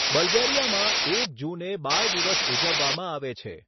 બલ્ગેરિયામાં, એક જૂને બાળ દિવસ ઉજવવામાં આવે છે.